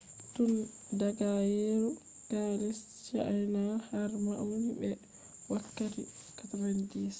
tun daga yeru kaalise chiana har mauni be wakkatti 90